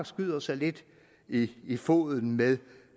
skyder sig lidt i foden ved